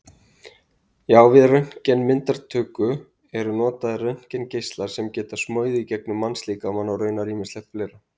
Já, við röntgenmyndatöku eru notaðir röntgengeislar sem geta smogið gegnum mannslíkamann og raunar ýmislegt fleira.